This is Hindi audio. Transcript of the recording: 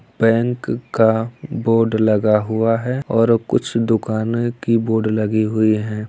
बैंक का बोर्ड लगा हुआ है और कुछ दुकानें की बोर्ड लगी हुई है|